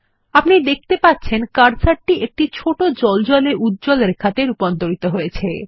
আপনি দেখতে পারবেন কার্সারটি একটি ছোট জ্বলজ্বলে উল্লম্ব রেখাতে রুপান্তরিত হয়েছে